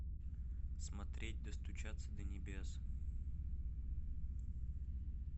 смотреть достучаться до небес